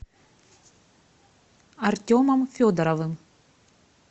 артемом федоровым